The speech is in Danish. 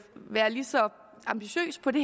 være lige så ambitiøs på det